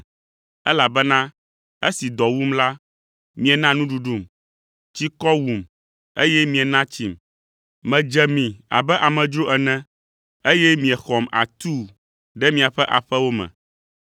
elabena esi dɔ wum la, miena nuɖuɖum, tsikɔ wum, eye miena tsim, medze mi abe amedzro ene, eye miexɔm atuu ɖe miaƒe aƒewo me.